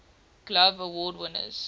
glove award winners